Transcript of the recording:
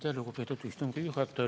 Aitäh, lugupeetud istungi juhataja!